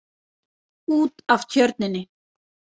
Út af tjörninni.